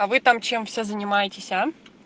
а вы там чем все занимаетесь а